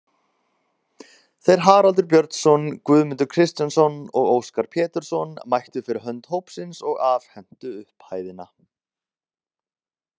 Þeir Haraldur Björnsson, Guðmundur Kristjánsson og Óskar Pétursson mættu fyrir hönd hópsins og afhentu upphæðina.